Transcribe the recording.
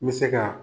N bɛ se ka